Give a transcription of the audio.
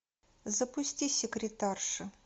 запусти секретарша